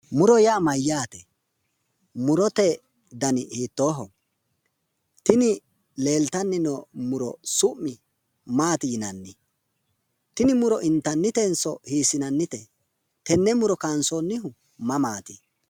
muro yaa mayyaate? murote dani hiittooho? tini leeltanni noo muro su'mi maati yinannni? tini muro intannitenso hiissinannite? tenne muro kaansoonnihu mamati?